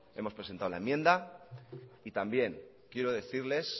hemos presentado la enmienda y también quiero decirles